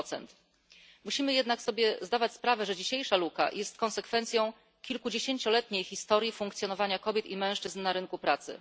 5 Musimy zdać sobie sprawę, że dzisiejsza luka jest konsekwencją kilkudziesięcioletniej historii funkcjonowania kobiet i mężczyzn na rynku pracy.